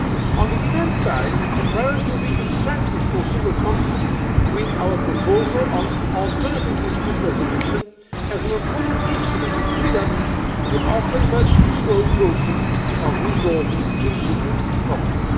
On the demand side, a priority will be to strengthen consumer confidence with our proposal on alternative dispute resolution as an important instrument to speed up the often much too slow process of resolving consumer problems.